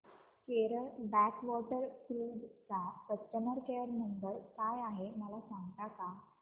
Kerala backwater cruise चा customer care number काय आहे मला सांगता का